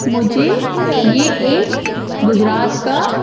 मुझे यह एक गुजरात का--